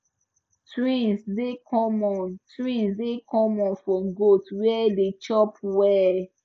twins dey common twins dey common for goats way dey chop well